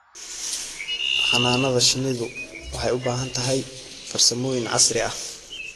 Xannaanada shinnidu waxay u baahan tahay farsamooyin casri ah.